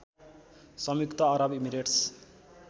संयुक्त अरब इमिरेट्स